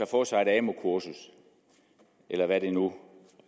få sig et amu kursus eller hvad det nu